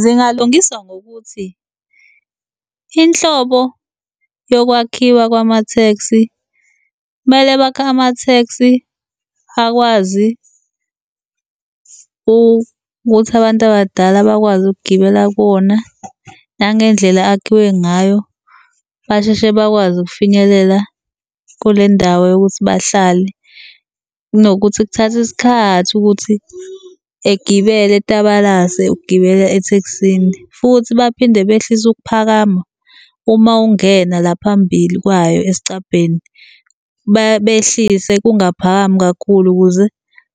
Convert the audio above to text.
Zingalungiswa ngokuthi inhlobo yokwakhiwa kwama-taxi kumele bakhe ama-taxi akwazi ukuthi abantu abadala bakwazi ukugibela kuwona nangendlela akhiwe ngayo, basheshe bakwazi ukufinyelela kule ndawo yokuthi bahlale. Kunokuthi kuthathe isikhathi ukuthi egibele etabalase ukugibela ethekisini. Futhi baphinde behlise ukuphakama uma ungena la phambili kwayo esicabheni, behlise kungaphakami kakhulu ukuze